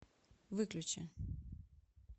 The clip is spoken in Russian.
выключи